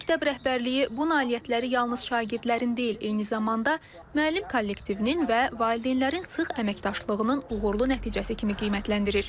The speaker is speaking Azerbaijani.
Məktəb rəhbərliyi bu nailiyyətləri yalnız şagirdlərin deyil, eyni zamanda müəllim kollektivinin və valideynlərin sıx əməkdaşlığının uğurlu nəticəsi kimi qiymətləndirir.